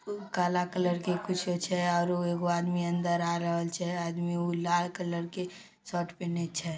काला कलर के कुछो छै। आरो एगो आदमी अंदर आय रहले छै ।आदमी उ लाल कलर के --